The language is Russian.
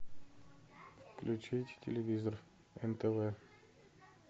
включить телевизор нтв